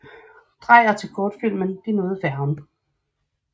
Dreyer til kortfilmen De nåede færgen